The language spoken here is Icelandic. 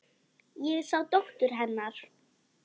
Ég sá dóttur. hennar.